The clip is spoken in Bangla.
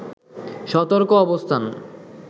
সতর্ক অবস্থান